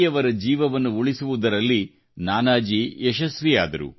ಯವರ ಜೀವವನ್ನು ಉಳಿಸುವುದರಲ್ಲಿ ನಾನಾಜಿ ಯಶಸ್ವಿಯಾದರು